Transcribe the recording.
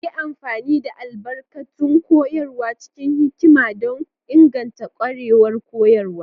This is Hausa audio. Yi amfani da albarkatun koyarwa cikin hikima don inganta ƙwarewar koyo.